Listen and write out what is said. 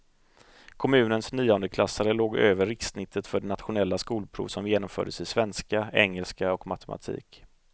Kommunens niondeklassare låg över rikssnittet för det nationella skolprov som genomfördes i svenska, engelska och matematik.